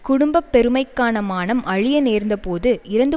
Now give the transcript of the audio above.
குடும்ப பெருமைக்கான மானம் அழிய நேர்ந்தபோது இறந்து